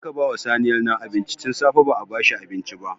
Je ka ba saniyar nan abinci! Tun safe ba a ba shi abinci ba.